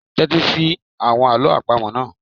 Tẹ́tí sí àwọn àlọ́ àpamọ̀ náà.